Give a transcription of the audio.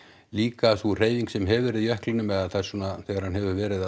líka sú hreyfing sem hefur verið í jöklinum eða það svona þegar hann hefur verið að